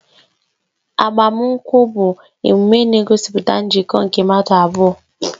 Agbamakwụkwọ bụ emume na-egosipụta njikọ nke mmadụ abụọ